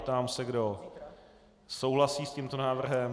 Ptám se, kdo souhlasí s tímto návrhem.